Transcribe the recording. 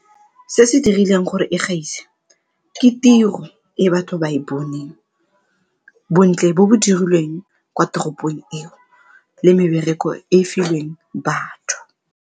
Se se dirileng gore e gaise ke tiro e batho ba e boneng, bontle bo bo dirilweng kwa toropong eo le mebereko e e filweng batho.